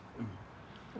og ég